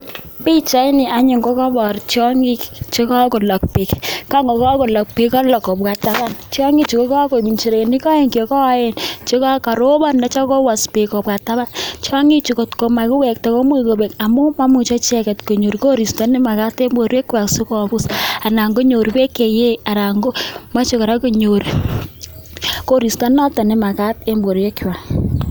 Pichaini anyuun kokaipor tiongik chekakolook beek, kalook kobwa taban , tiongichu ko kakoek nchirenik aeng che koen chekaropon, nityo kowas beek kobwa taban, tiongichu kotko makiwekta komuch kobek amun maimuchei icheket konyor koristo nemakat eng borwekwai si kobuus anan konyor beek che yei anan kotyo kora konyor koristo noto nemakat eng borwekwai.